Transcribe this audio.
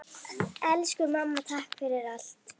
Elsku mamma, takk fyrir allt!